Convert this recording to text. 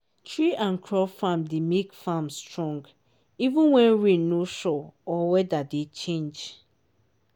tree and crop farm dey make farm strong even when rain no sure or weather dey change.